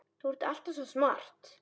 Þú ert alltaf svo smart.